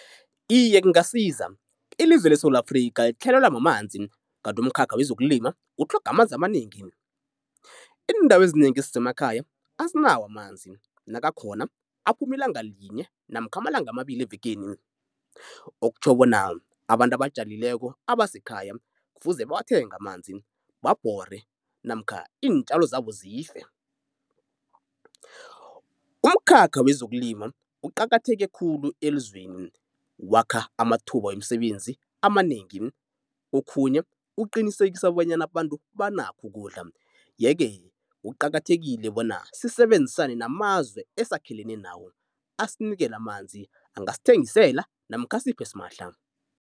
Iye kungasiza, ilizwe leSewula Afrikha litlhayelelwa mamanzi kanti umkhakha wezokulima ukutlhoga amanzi amanengi. Iindawo ezinengi ezisemakhaya azinawo amanzi nakakhona aphuma iilanga linye namkha amalanga amabili evekeni. Okutjho bona abantu abatjalileko abasekhaya kufuze bawathenge amanzi, babhore namkha iintjalo zabo zife. Umkhakha wezokulima uqakatheke khulu elizweni, wakha amathuba wemisebenzi amanengi okhunye uqinisekisa bonyana abantu banakho ukudla yeke kuqakathekile bona sisebenzisane namazwe esakhelene nawo. Asinikele amanzi angasithengisela namkha asiphe simahla.